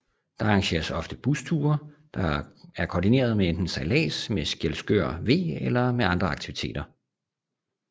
Der arrangeres ofte busture der er kordinerede med enten sejllads med Skjelskør V eller med andre aktiviteter